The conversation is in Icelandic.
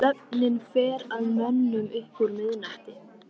Svefninn fer að mönnum upp úr miðnætti.